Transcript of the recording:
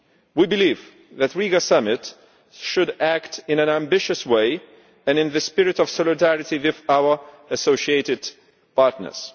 We believe that the Riga Summit should act in an ambitious way and in the spirit of solidarity with our associated partners.